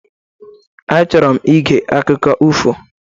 Achọrọ m ige akụkọ ifo